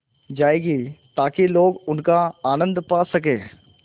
जाएगी ताकि लोग उनका आनन्द पा सकें